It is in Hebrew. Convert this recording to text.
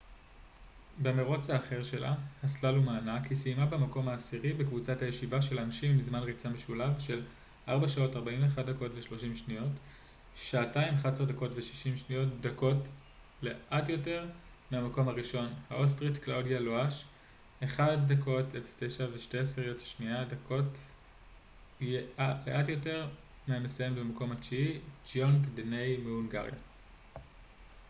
במירוץ האחר שלה הסלאלום הענק היא סיימה במקום העשירי בקבוצת הישיבה של הנשים עם זמן ריצה משולב של 4:41.30 2:11.60 דקות לאט יותר מהמקום הראשון האוסטרית קלאודיה לואש ו-1:09.02 דקות לאט יותר מהמסיימת במקום התשיעי גיונגיי דני מהונגריה